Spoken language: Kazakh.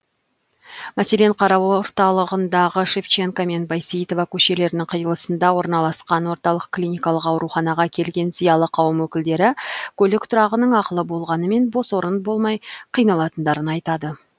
мәселен қара орталығындағы шевченко мен байсейітова көшелерінің қиылысында орналасқан орталық клиникалық ауруханаға келген зиялы қауым өкілдері көлік тұрағының ақылы болғанымен бос орын болмай қиналатындарын айтады